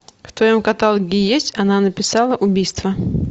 в твоем каталоге есть она написала убийство